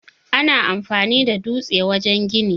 Ana amfani da dutse wajen gini.